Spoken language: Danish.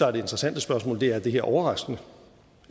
er det interessante spørgsmål er er det her overraskende